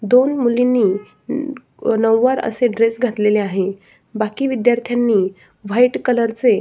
दोन मुलींनी नऊवार असे ड्रेस घातलेले आहे बाकी विद्यार्थ्यांनी व्हाइट कलर चे--